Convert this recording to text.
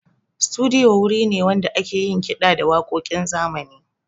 Studiyo wuri ne wanda ake yin kiɗa da waƙoƙin zamani.